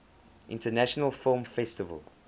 international film festival